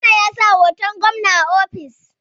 Jona ya sa hoton gwamna a ofis